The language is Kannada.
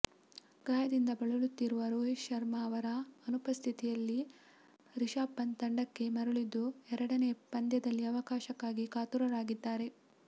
ಗಾಯದಿಂದ ಬಳಲುತ್ತಿರುವ ರೋಹಿತ್ ಶರ್ಮಾ ಅವರ ಅನುಪಸ್ಥಿತಿಯಲ್ಲಿ ರಿಷಾಭ್ ಪಂಥ್ ತಂಡಕ್ಕೆ ಮರಳಿದ್ದು ಎರಡನೇ ಪಂದ್ಯದಲ್ಲಿ ಅವಕಾಶಕ್ಕಾಗಿ ಕಾತುರರಾಗಿದ್ದಾರೆ